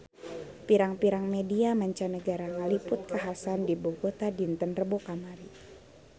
Pirang-pirang media mancanagara ngaliput kakhasan di Bogota dinten Rebo kamari